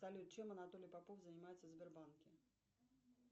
салют чем анатолий попов занимается в сбербанке